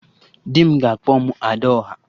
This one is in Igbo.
Di m ga na-akpọ m 'Ada ọha'